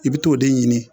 I bɛ t'o de ɲini